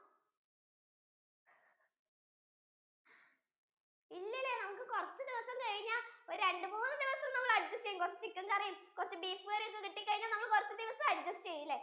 ഇല്ലാലെ നമുക്കു കുറച്ചു ദിവസം കഴിഞ്ഞാൽ രണ്ടു മൂന്ന് ദിവസം നമ്മൾ adjust ചെയ്യും കുറച്ചു chicken curry ഉം കുറച്ചു beef curry ഉം ഒക്കെ കിട്ടി കഴിഞ്ഞാൽ നമ്മൾ കുറച്ചു ദിവസം adjust ചെയ്യുലെ